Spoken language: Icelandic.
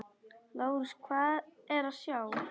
LÁRUS: Hvað er að sjá?